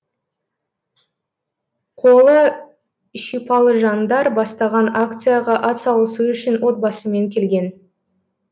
қолы шипалы жаңдар бастаған акцияға атсалысу үшін отбасымен келген